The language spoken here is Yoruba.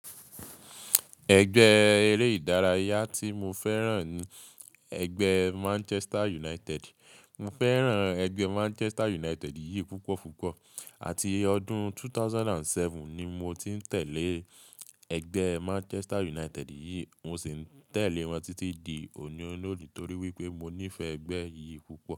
Ẹgbẹ́ eré ìdárayá tí mo fẹ́ràn ni ẹgbẹ́ Manchester United. Mo fẹ́ràn ẹgbẹ́ Manchester United yìí púpọ̀ púpọ̀. Àti ọdún 2007 ni mo ti ń tẹ̀lé ẹgbẹ́ Manchester United yìí, mo sì ń tẹ̀lé wọn títí di òní-olòní torí wípé mo nífẹ̀ẹ́ ẹgbẹ́ yìí púpọ̀.